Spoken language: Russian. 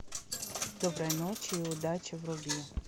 доброй ночи и удачи вруби